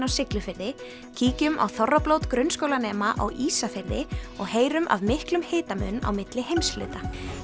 á Siglufirði kíkjum á þorrablót grunnskólanema á Ísafirði og heyrum af miklum hitamun á milli heimshluta